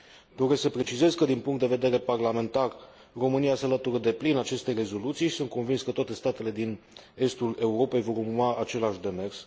Doresc să precizez că, din punct de vedere parlamentar, România se alătură deplin acestei rezoluții și sunt convins că toate statele din estul Europei vor urma același demers.